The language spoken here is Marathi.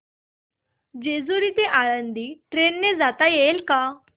जेजूरी ते आळंदी ट्रेन ने जाता येईल का